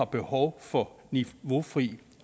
behov for niveaufri